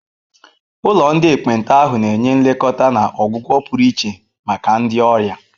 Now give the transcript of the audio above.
Ụlọ ndị ekpenta ahụ na-enye nlekọta na ọgwụgwọ pụrụ iche maka ndị ọrịa.